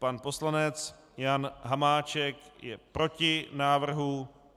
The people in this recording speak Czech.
Pan poslanec Jan Hamáček je proti návrhu.